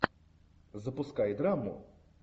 запускай драму